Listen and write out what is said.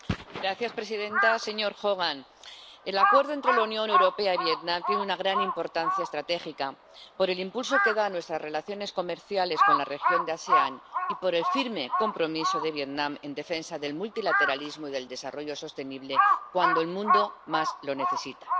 Señora presidenta, señor Hogan, el acuerdo entre la Unión Europea y Vietnam tiene una gran importancia estratégica por el impulso que da a nuestras relaciones comerciales con la región de la ASEAN y por el firme compromiso de Vietnam en defensa del multilateralismo y del desarrollo sostenible cuando el mundo más lo necesita.